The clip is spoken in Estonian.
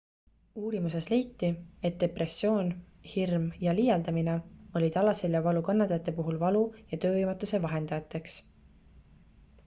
uurimuses leiti et depressioon hirm ja liialdamine olid alaseljavalu kannatajate puhul valu ja töövõimetuse vahendajateks